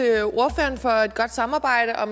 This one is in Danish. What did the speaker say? er